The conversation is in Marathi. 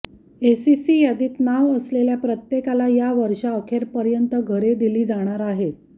एससीसी यादीत नाव असलेल्या प्रत्येकाला या वर्षअखेरपर्यंत घरे दिली जाणार आहेत